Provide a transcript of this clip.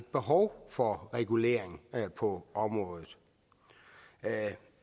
behov for regulering på området